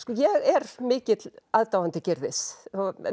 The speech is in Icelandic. ég er mikill aðdáandi Gyrðis